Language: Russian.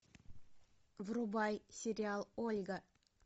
врубай сериал ольга